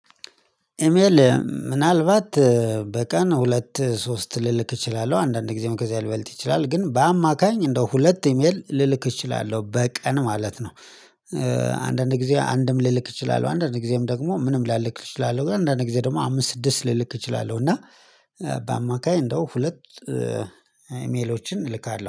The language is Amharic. ኢሜል ምናልባት በቀን ሁለት ሶስት ልልክ እችላለሁ አንዳንድ ጊዜ ከዚያ ሊበልጥ ይችላል ግን በአማካይ እንደው ሁለት ኢሜል ልልክ እችላለሁ በቀን ማለት ነው። አንዳንድ ጊዜ አንድም ልልክ እችላለሁ አንዳንድ ጊዜም ደግሞ ምንም ላልክ እችላለሁ ግን አንዳንድ ጊዜ ደግሞ አምስት ስድስት ልልክ እችላለሁ እና በአማካይ እንደው ሁለት ኢሜሎችን እልካለሁ